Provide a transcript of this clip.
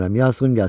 Yazığım gəlsin!